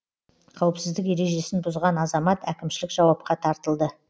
қауіпсіздік ережесін бұзған азамат әкімшілік жауапқа тартылды